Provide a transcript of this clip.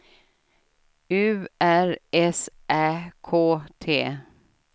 U R S Ä K T